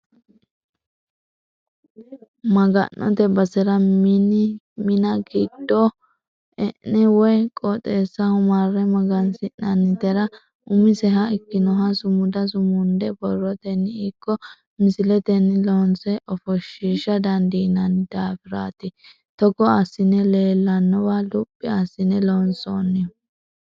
Maga'note basera mina giddo e'ne woyi qooxeessaho marre magansi'nannitera umiseha ikkinoha sumuda sumunde borroteni ikko misileteni loonse ofoshisha dandiinanni daafirati togo assine leellanowa luphi assine loonsonihu.